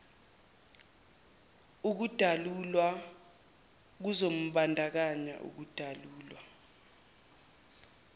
ukudalulwa kuzombandakanya ukudalulwa